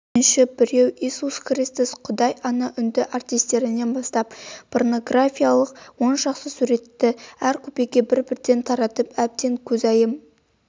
үшінші біреу иисус христос құдай ана үнді артистернен бастап порнографиялық оншақты суретті әр купеге бір-бірден таратып әбден көзайым